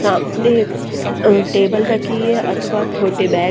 सामने एक टेबल रखी है अथवा छोटे बैग --